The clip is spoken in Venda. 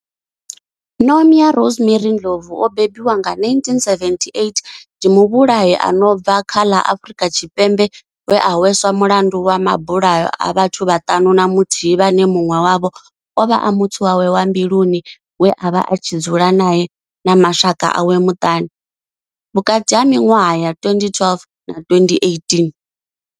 Nomia Rosemary Ndlovu o bebiwaho nga 1978 ndi muvhulahi a no bva kha ḽa Afurika Tshipembe we a hweswa mulandu wa mabulayo a vhathu vhaṱanu na muthihi vhane munwe wavho ovha a muthu wawe wa mbiluni we avha a tshi dzula nae na mashaka awe maṱanu vhukati ha minwaha ya 2012 na 2018.